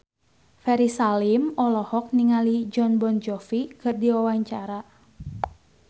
Ferry Salim olohok ningali Jon Bon Jovi keur diwawancara